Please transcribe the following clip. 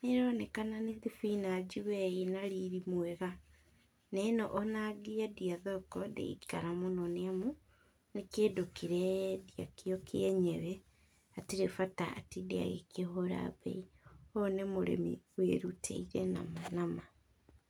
nĩronekana nĩ thibinanji we ĩna riri mwega, neno ona angĩendia thoko ndĩngĩikara mũno, nĩamu nĩ kĩndũ kĩreyendia kĩo kĩenyewe, hatirĩ bata atinde agĩkĩhũra mbei, ũyũ nĩ mũrĩmi wĩrutĩire nama nama.